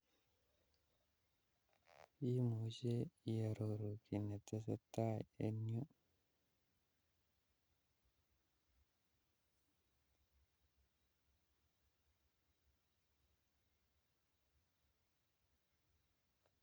Imuche iororu kiy netesetai en yu